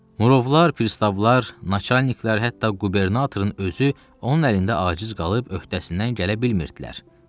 Murovlar, pristavlar, naçaniklər, hətta qubernatorun özü onun əlində aciz qalıb öhdəsindən gələ bilmirdilər.